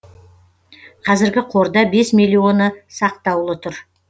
қазіргі қорда бес миллионы сақтаулы тұр